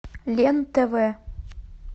лен тв